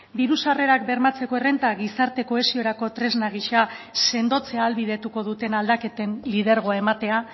diru sarrerak bermatzeko errenta gizarte kohesiorako tresna gisa sendotzea ahalbidetuko duten aldaketen lidergoa ematea